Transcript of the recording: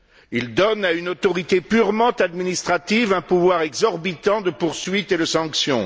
Il donne à une autorité purement administrative un pouvoir exorbitant de poursuite et de sanction.